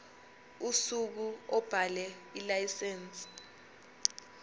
usuku obhale ilayisense